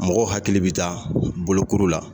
Mɔgɔ hakili bɛ taa bolokuru la.